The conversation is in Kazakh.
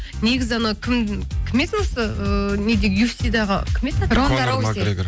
негізі анау кім еді осы ыыы неде юфси дағы кім еді аты